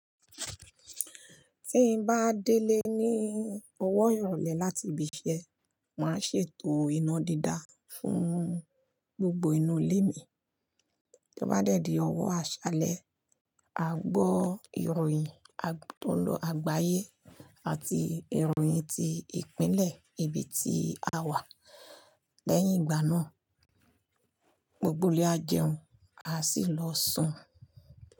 Tí n bá délé ní ọwọ ìrọlẹ́ láti ibi iṣẹ́, màá ṣètò iná dídá fún gbogbo inú ilé mi. Tí ó bá dẹ́di ọwọ́ àṣálẹ́, a gbọ́ ìròyìn tó ń lọ àgbáyé àti ìròyìn ti ìpínlẹ̀ ibi tí a wà. Lẹ́yìn ìgbà náà, gbogbo ilé a jẹun, a sì lọ sùn.